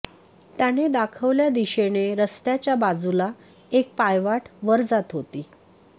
त्याने दाखवल्या दिशेने रस्त्याच्या बाजूला एक पायवाट वर जात होती